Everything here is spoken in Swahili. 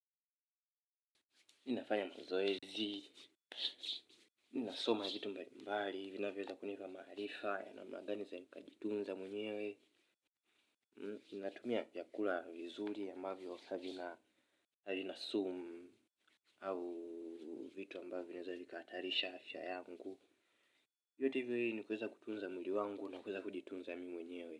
Ninafanya mazoezi ninasoma vitu mbali mbali vinavyo weza kunifa maarifa ya namna gani naweza nikajitunza mwenyewe natumia vyakula vizuri ambavyo havina sumu au vitu ambavyo vinaweza vikahatarisha afya yangu vyote hivyo ili ni kuweza kutunza mwili wangu na kuweza kujitunza mwenyewe.